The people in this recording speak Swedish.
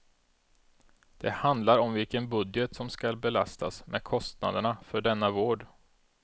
Det handlar om vilken budget som skall belastas med kostnaderna för denna vård.